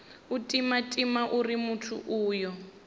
u timatima uri muthu uyo